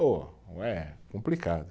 Pô, é complicado.